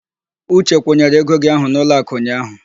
Uche kwụnyere ego gị ahụ n'ụlọakụ ụnyaahụ.